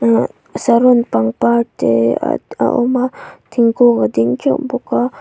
saron pangpar te ad a awm a thingkung a ding teuh bawk a.